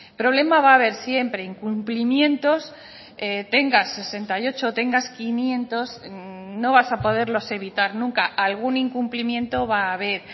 problema va a haber siempre incumplimientos tenga sesenta y ocho o tengas quinientos no vas a poderlos evitar nunca algún incumplimiento va a haber